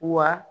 Wa